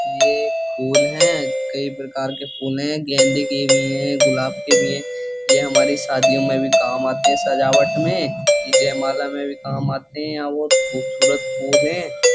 ये एक फूल हैं कई प्रकार के फूल हैं गेंदे के भी है गुलाब के भी हैं। ये हमारी शादियों में भी काम आते हैं सजावट में ये जयमाला में भी काम आते हैं यहाँ बहोत खूबसूरत फूल हैं।